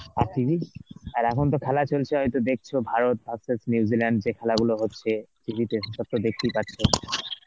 আর TV ? আর এখন তো খেলা চলছে হয়তো দেখছো ভারত versus New Zealand যে খেলা গুলো হচ্ছে TV তে সব তো দেখতেই পাচ্ছ.